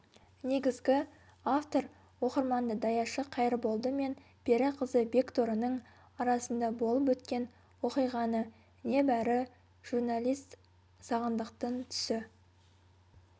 негізгі-автор оқырманды даяшы қайырболды мен пері қызы бекторының арасында болып өткен оқиғаны небәрі журналист сағындықтың түсі